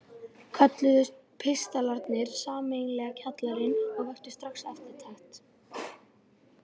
Kölluðust pistlarnir sameiginlega Kjallarinn og vöktu strax eftirtekt.